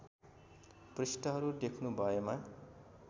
पृष्ठहरू देख्नु भएमा